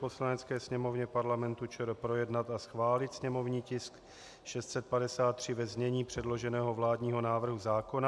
Poslanecké sněmovně Parlamentu ČR projednat a schválil sněmovní tisk 653 ve znění předloženého vládního návrhu zákona.